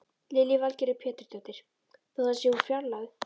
Lillý Valgerður Pétursdóttir: Þó það sé úr fjarlægð?